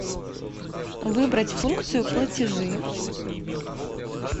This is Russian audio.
выбрать функцию платежи